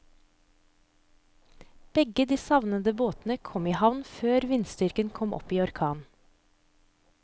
Begge de savnede båtene kom i havn før vindstyrken kom opp i orkan.